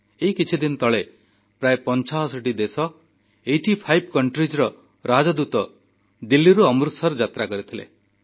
ଏଇ କିଛିଦିନ ତଳେ ପ୍ରାୟ 85ଟି ଦେଶର ରାଷ୍ଟ୍ରଦୂତ ଦିଲ୍ଲୀରୁ ଅମୃତସର ଯାତ୍ରା କରିଥିଲେ